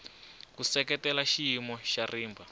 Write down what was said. ku seketela xiyimo xa rimba